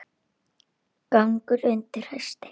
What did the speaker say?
Gangur undir hesti.